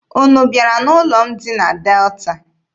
Unu bịara n'ụlọ m dị na Delta?